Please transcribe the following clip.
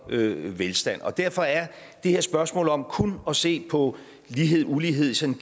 velstand og derfor er det her spørgsmål om kun at se på lighedulighed i sådan